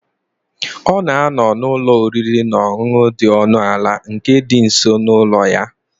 Ọ na-anọ n'ụlọ oriri na ọṅụṅụ dị ọnụ ala nke dị nso n'ụlọ ya.